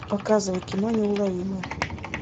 показывай кино неуловимые